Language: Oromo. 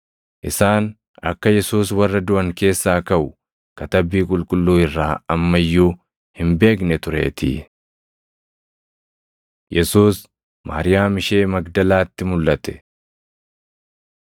Isaan akka Yesuus warra duʼan keessaa kaʼu Katabbii Qulqulluu irraa amma iyyuu hin beekne tureetii. Yesuus Maariyaam Ishee Magdalaatti Mulʼate